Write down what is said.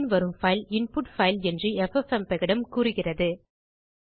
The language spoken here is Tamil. அதன்பின் வரும் பைல் இன்புட் பைல் என்று எஃப்எப்எம்பெக் இடம் கூறுகிறது